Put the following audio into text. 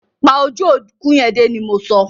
Pa ojú òkú yẹn dé! ni mọ so.